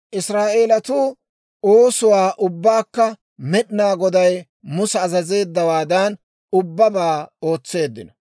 Israa'eelatuu oosuwaa ubbaakka Med'inaa Goday Musa azazeeddawaadan ubbabaa ootseeddino.